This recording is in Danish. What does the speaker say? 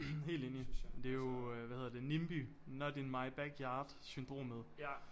Helt enig men det jo øh hvad hedder det NIMBY not in my backyard syndromet